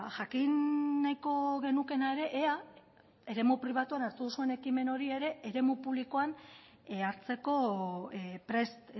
jakin nahiko genukeena ere ea eremu pribatuan hartu duzuen ekimen hori ere eremu publikoan hartzeko prest